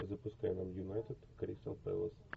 запускай нам юнайтед кристал пэлас